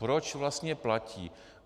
Proč vlastně platí?